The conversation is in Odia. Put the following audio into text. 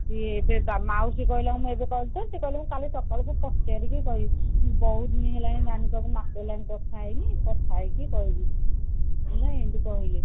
ଏ ମାଉସୀ କହିଲା ସେ କହିଲା କାଲି ସକାଳକୁ ପଚାରିକି କହିବି ବହୁତ ଦିନ ହେଲାଣି ସହ ମାସେ ହେଲା କଥା ହେଇନି କଥା ହେଇକି କହିବି ମୁଁ ଏମତି କହିଲି